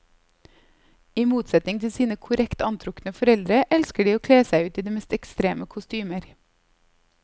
I motsetning til sine korrekt antrukne foreldre elsker de å kle seg ut i de mest ekstreme kostymer.